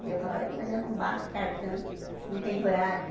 E eu falava, mas eu não bato o cartão, não tenho horário.